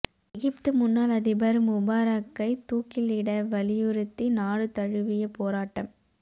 எகிப்து முன்னாள் அதிபர் முபாரக்கை தூக்கிலிட வலியுறுத்தி நாடு தழுவிய போராட்டம்